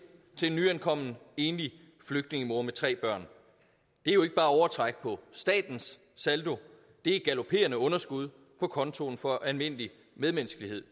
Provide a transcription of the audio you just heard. til en nyankommen enlig flygtningemor med tre børn det er jo ikke bare overtræk på statens saldo det er galopperende underskud på kontoen for almindelig medmenneskelighed